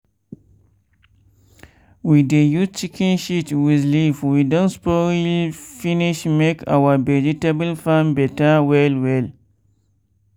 we dey use chicken shit with leaf wey don spoil finish make our vegetable farm better well well.